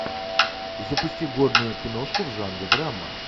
запусти годную киношку в жанре драма